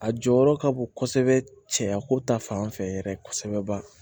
A jɔyɔrɔ ka bon kosɛbɛ cɛya ko ta fanfɛ yɛrɛ kosɛbɛ ba